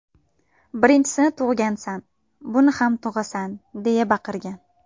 Birinchisini tug‘gansan, buni ham tug‘asan”, deya baqirgan.